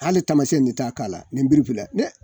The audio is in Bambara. Hali taamasiyɛn ne t'a k'a la nin biri filɛ ne